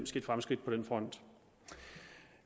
sket fremskridt på den front